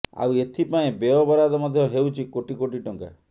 ଆଉ ଏଥି ପାଇଁ ବ୍ୟୟ ବରାଦ ମଧ୍ୟ ହେଉଛି କୋଟି କୋଟି ଟଙ୍କା